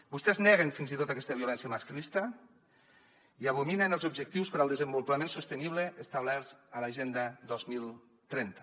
vostès neguen fins i tot aquesta violència masclista i abominen els objectius per al desenvolupament sostenible establerts a l’agenda dos mil trenta